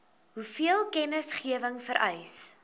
hoeveel kennisgewing vereis